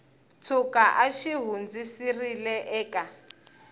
tshuka a xi hundziserile eka